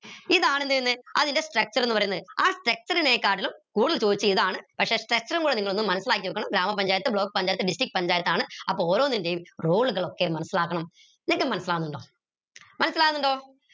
ഇതാണ് എന്ത് അതിന്റെ structure ന്ന് പറീന്നത് ആ structure നെ കാട്ടിലും കൂടുതൽ ചോയ്ച്ച ഇതാണ് പക്ഷെ ആ structure ഉം കൂടെ നിങ്ങളൊന്ന് മനസിലാക്കിവെക്കണം ഗ്രാമ പഞ്ചായത്ത് block പഞ്ചായത്ത് district പഞ്ചായത്താണ് അപ്പൊ ഓരോന്നിന്റെയും role കൾ ഒക്കെ മനസിലാക്കണം നിങ്ങക്ക് മനസിലാവുന്നുണ്ടോ മനസിലാവുന്നുണ്ടോ